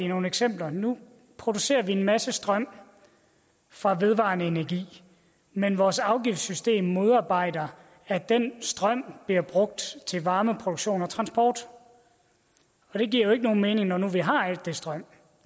nogle eksempler nu producerer vi en masse strøm fra vedvarende energi men vores afgiftssystem modarbejder at den strøm bliver brugt til varmeproduktion og transport og det giver jo ikke nogen mening når vi nu har al den strøm